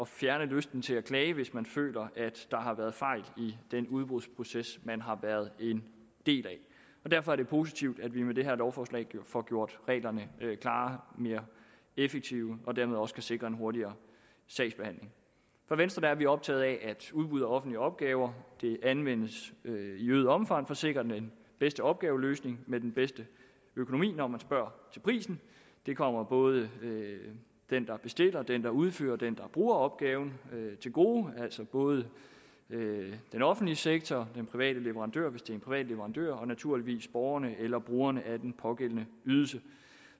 fjerne lysten til at klage hvis man føler at der har været fejl i den udbudsproces man har været en del af derfor er det positivt at vi med det her lovforslag får gjort reglerne klarere mere effektive og dermed også kan sikre en hurtigere sagsbehandling i venstre er vi optaget af at udbud af offentlige opgaver anvendes i øget omfang for at sikre den bedste opgaveløsning med den bedste økonomi når man spørger til prisen det kommer både den der bestiller den der udfører og den der bruger opgaven til gode altså både den offentlige sektor den private leverandør hvis det er en privat leverandør og naturligvis borgerne eller brugerne af den pågældende ydelse